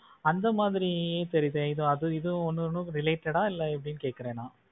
அந்த மாதிரி தெரியுது அது இதுவும் உன்னோட ஒன்னு related ஆ எப்டின்னு கேட்கிறேன் நான்.